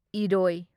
ꯢꯔꯣꯢ